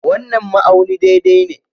wannan ma'auni daidai ne.